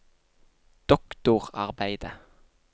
doktorarbeidet